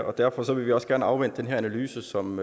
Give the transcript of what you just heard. og derfor vil vi også gerne afvente den analyse som